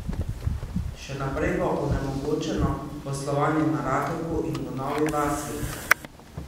Še naprej bo onemogočeno poslovanje na Rakeku in v Novi vasi.